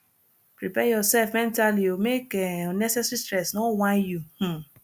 prepare urself mentally o mek um unnecessary stress no whine you um